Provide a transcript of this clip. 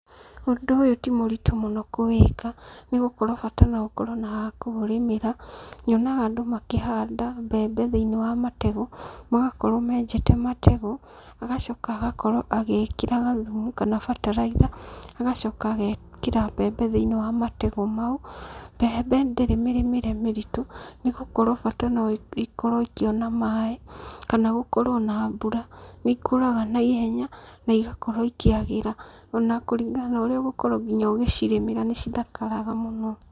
Ũndũ ũyũ ti mũritũ mũno kũwĩka, nĩ gũkorwo bata no ũkorwo na ha kũũrĩmĩra, nyonaga andũ makĩhanda mbembe thĩiniĩ wa mategũ, magakorwo menjete mategũ, agacoka agakorwo agĩĩkĩra gathumu kana bataraitha, agacoka agekĩra mbembe thĩiniĩ wa mategũ mau. Mbembe ndĩrĩ mĩrĩmĩre mĩritũ, nĩ gũkorwo bata no ikorwo ikĩona maaĩ kana gũkorwo na mbura. Nĩ ikũraga na ihenya na igakorwo ikĩagĩra ona kũringana na ũrĩa ũgũkorwo nginya ũgĩcirĩmĩra nĩ cithakaraga mũno.